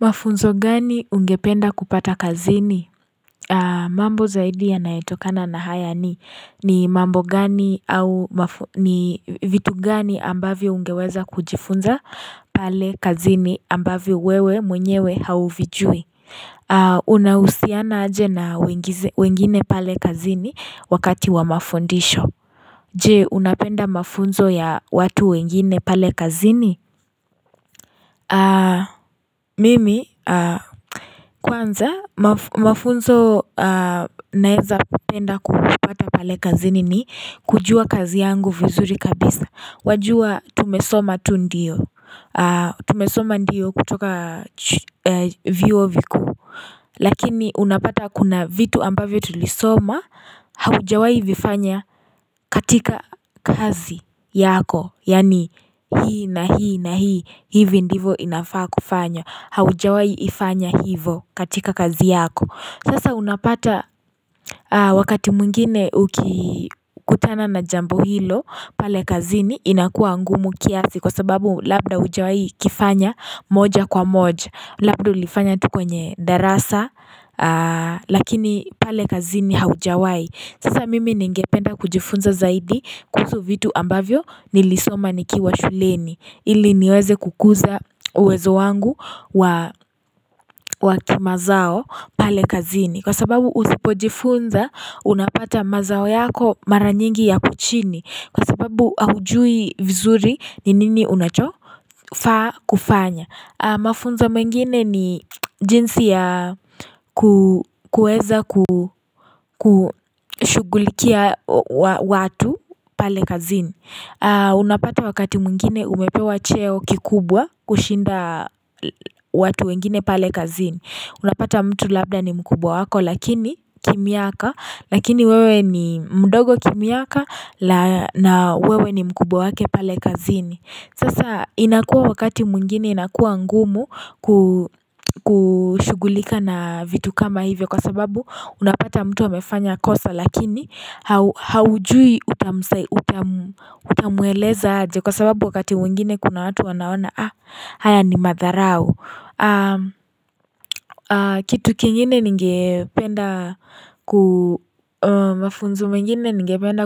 Mafunzo gani ungependa kupata kazini? Mambo zaidi yanayotokana na haya ni ni mambo gani au ni vitu gani ambavo ungeweza kujifunza pale kazini ambavyo wewe mwenyewe hauvijui Unausiana aje na wengine pale kazini Wakati wa mafundisho Je unapenda mafunzo ya watu wengine pale kazini? Mimi Kwanza Mafunzo naeza penda kuhupata pale kazini ni kujua kazi yangu vizuri kabisa wajua tumesoma tu ndio Tumesoma ndio kutoka vio vikuu Lakini unapata kuna vitu ambavyo tulisoma Haujawai vifanya katika kazi yako Yani hii na hii na hii hivi ndivo inafaa kufanya Haujawai ifanya hivo katika kazi yako Sasa unapata wakati muingine kutana na jambo hilo pale kazini inakua ngumu kiasi kwa sababu labda ujawai kifanya moja kwa moja Labda ulifanya tu kwenye darasa lakini pale kazini haujawai Sasa mimi ningependa kujifunza zaidi kuzu vitu ambavyo nilisoma nikiwa shuleni ili niweze kukuza uwezo wangu wa kima zao pale kazini Kwa sababu usipojifunza unapata mazao yako maranyingi yako chini Kwa sababu aujui vizuri ni nini unachofaa kufanya Mafunzo mengine ni jinsi ya kueza kushugulikia watu pale kazini Unapata wakati mwingine umepewa cheo kikubwa kushinda watu wengine pale kazini Unapata mtu labda ni mkubwa wako lakini kimyaka lakini wewe ni mdogo kimyaka na wewe ni mkubwa wake pale kazini Sasa inakuwa wakati muingine inakuwa ngumu kushugulika na vitu kama hivyo kwa sababu unapata mtu amefanya kosa lakini haujui utamueleza aje kwa sababu wakati muingine kuna watu wanaona haa haya ni madharau Kitu kingine ningependa